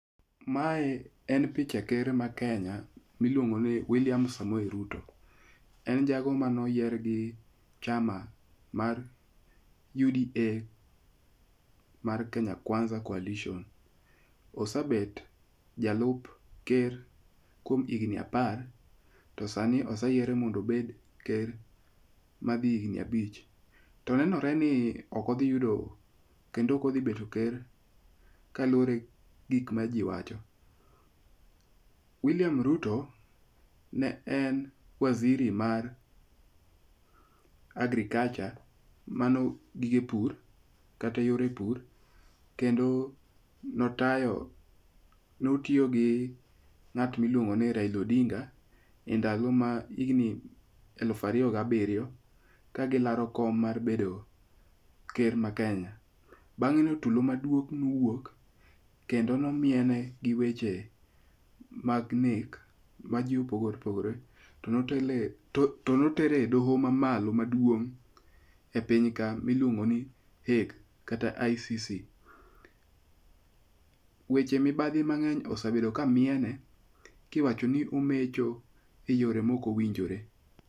Mae en picha ker ma Kenya miluongo ni William Samoei Ruto. En jago manoyier gi chama mar UDA mar Kenya Kwanza Coalition. Ose bet jalup ker kuom higni apar. To sani ose yiere mondo obed ker ma dhi higni abich. To nenore ni ok odhi yudo kendo ok odhi bet ker kalure gi gik ma ji wacho. William Ruto ne en waziri mar agriculture mano gige pur kata yore pur kendo notayo notiyo gi ng'at miluongo ni Raila Odinga e ndalo ma higni eluf ariyo gi abiryo ka gilaro kom mar bedo ker ma Kenya. Bang'e no tulo maduong' niwuok kendo nomiene gi weche mag nek ma ji opogore opogore. To notere e doho mamalo maduong’ e piny ka miluongo ni Hague kata ICC. Weche mibadhi mang'eny osebedo ka miene kiwachi ni omecho e yore mok owinjore.